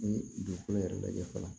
Ni dugukolo yɛrɛ lajɛ fɔlɔ